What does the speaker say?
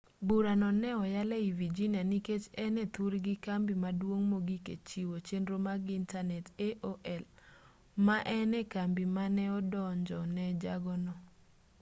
burano ne oyal ei virginia nikech en e thurgi kambi maduong' mogik e chiwo chenro mag intanet aol ma en e kambi mane odonjo ne jago no